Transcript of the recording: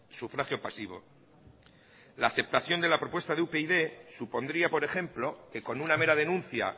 sufragio pasivo la aceptación de la propuesta de upyd supondría por ejemplo que con una mera denuncia